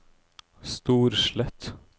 Storslett